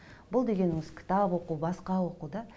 бұл дегеніміз кітап оқу басқа оқу да